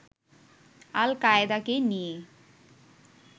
আল-কায়েদাকে নিয়ে